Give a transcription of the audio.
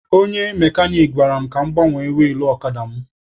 Onye mekanik gwara m gbanwee wilụ ọkada mụ